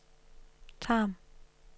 Tarm